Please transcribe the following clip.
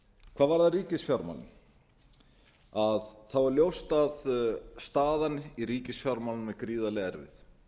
hvað varðar ríkisfjármálin er ljóst að staðan í ríkisfjármálum er gríðarlega erfið